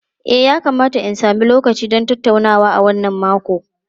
E, yakamata in sami lokaci don tattaunawa a wannan makon.